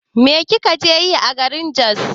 Me kika je yi a garin Jos?